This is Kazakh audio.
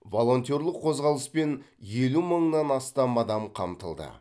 волонтерлік қозғалыспен елу мыңнан астам адам қамтылды